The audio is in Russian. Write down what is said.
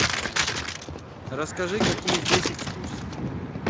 расскажи какие здесь экскурсии